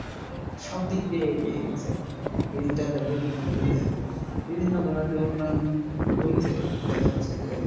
সবদিক দিয়েই এগিয়ে গেছে digital হয়েছে বিভিন্ন ধরনের উন্নয়ন হয়েছে দেখা যাচ্ছে যে,